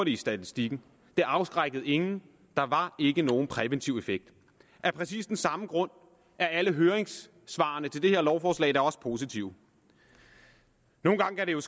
i statistikken det afskrækkede ingen der var ikke nogen præventiv effekt af præcis den samme grund er alle høringssvarene til det her lovforslag da også positive nogle gange kan det jo